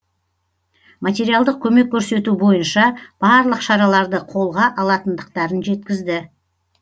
материалдық көмек көрсету бойынша барлық шараларды қолға алатындықтарын жеткізді